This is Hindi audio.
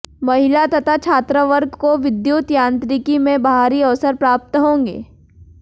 महिला तथा छात्रवर्ग को विद्युत यांत्रिकी में बाहरी अवसर प्राप्त होंगे